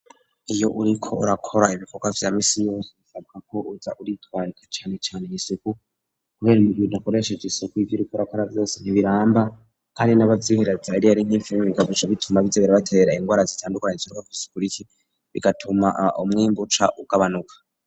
iyo uriko urakora ibikogwa vya misi yose usabwa ko uza uritwararika cane cane isuku kubera ibintu bidakoresheje isuku ibyuriko urakora vyose ntibiramba kandi n'abavyihereza iyo ari nk'ibifungugwa bituma bihereza ibibatera ingwara zitandukanye zikurikira zigatuma umwimbu uca ugabanuka.